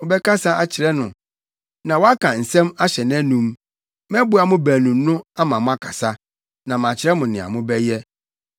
Wobɛkasa akyerɛ no na woaka nsɛm ahyɛ nʼanom; mɛboa mo baanu no ama moakasa, na makyerɛ mo nea mobɛyɛ.